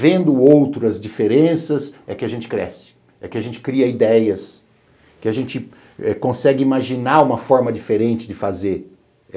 Vendo outras diferenças é que a gente cresce, é que a gente cria ideias, que a gente consegue imaginar uma forma diferente de fazer.